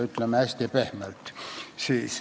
Ütleme siis hästi pehmelt.